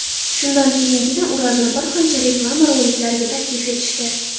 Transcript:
Shundan keyingina Urazni bir qancha reklama roliklariga taklif etishdi.